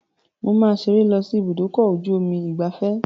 Mo máa ṣeré lọ sí ibúdòkọ-ojú-omi ìgbafẹ́